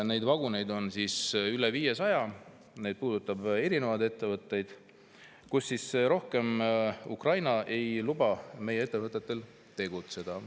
Neid vaguneid on üle 500, need puudutavad erinevaid ettevõtteid, Ukraina ei luba meie ettevõtetel rohkem tegutseda.